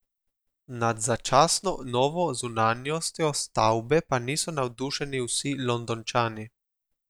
Nad začasno novo zunanjostjo stavbe pa niso navdušeni vsi Londončani.